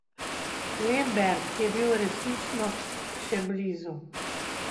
Lemberg je bil resnično še blizu.